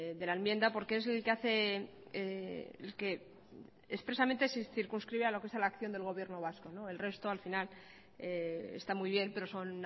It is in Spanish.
de la enmienda porque es el que hace el que expresamente se circunscribe a lo que es la acción del gobierno vasco el resto al final está muy bien pero son